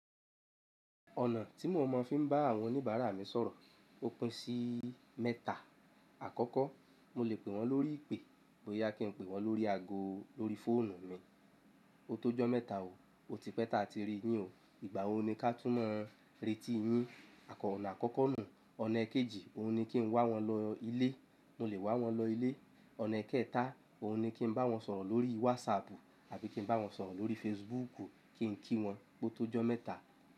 Ọ̀nà tí mo mọ̀ fi ń bá àwọn oníbàárà mi sọ̀rọ̀ ó pín sí mẹ́ta. Àkọ́kọ́, mo lè pè wọ́n lórí ìpè, bóyá kí n pè wọ́n lórí ago lórí fóònù mi. O tó jọ́ mẹ́ta òó, o ti pẹ́ta ti rí yín o. Ìgbà wo ni ká túmọ̀ ireti yín? Àkọ́ akọ́kọ́ nù. Ọ̀nà ẹkejì, òun ni kí n wá wọn lọ ilé, mo lè wá wọn lọ ilé. Ọ̀nà ekẹ́ta, òun ni kí n bá wọn sọ̀rọ̀ lórí WhatsApp àbí kí n bá wọn sọ̀rọ̀ lórí Facebook kí n kí wọn, pó tó jọ́ mẹ́ta.